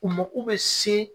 U mako bɛ se